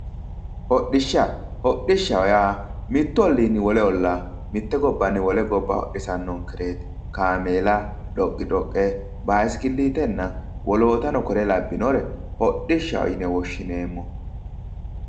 Hodhishsha, hodhishshaho yaa mitu ollinni wole olla mite gobbanni wole gobba hodhisanonkereti kaameella dhoqi-dhoqe basikilitenna woloottano kore labbinore hodhishshaho yinne woshshineemmo.